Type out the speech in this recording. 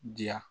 Diya